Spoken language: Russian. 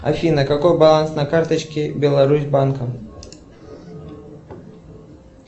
афина какой баланс на карточке беларусьбанка